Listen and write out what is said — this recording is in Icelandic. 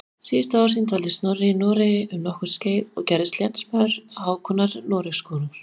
Síðustu ár sín dvaldi Snorri í Noregi um nokkurt skeið og gerðist lénsmaður Hákonar Noregskonungs.